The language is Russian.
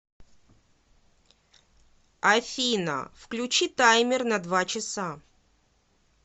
афина включи таймер на два часа